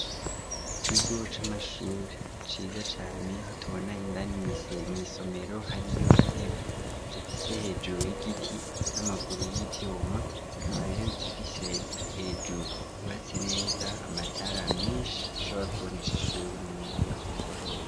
Ikigo c'amashuri ciza cane aho tubona indani mw'isomero hariyo intebe zifise hejuru higiti n'amaguru y'ivyuma hakaba rero zifise hejuru hubatse neza amatara meshi ashobora kubonesha ishuri mu mwanya ku mugoroba.